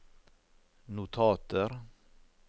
notater